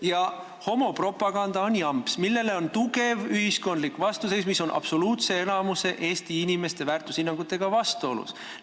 Ja homopropaganda on jamps, millele on tugev ühiskondlik vastuseis ja mis on Eesti inimeste absoluutse enamuse väärtushinnangutega vastuolus.